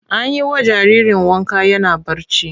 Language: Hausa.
An yi wa jariri wanka yana barci.